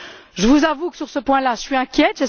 Je vous avoue que, sur ce point là, je suis inquiète.